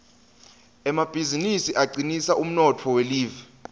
emabizinisi acinisa umnotfo welive